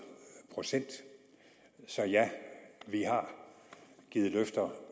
procent så ja vi har givet løfter